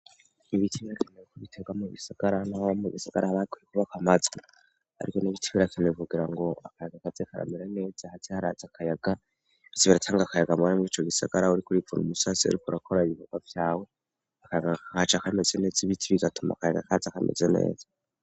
Ibiti brakeneye ko bitegwa mu gisagara nabo mu gisagara abakwiye kubaka mazwi ariko n'ibiti birakeneye bugira ngo akayaga kaze karamira neze haze arkyazibiratsanga kayaga mabare muriico gisagara uri kuripun umusasi ariko urakora ibihogwa byawe aca kameze neza ibiti bigatuma kayaga kazi akameze neza.